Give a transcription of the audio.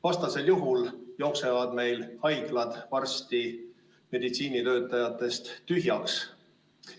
Vastasel juhul jooksevad meil haiglad varsti meditsiinitöötajatest tühjaks.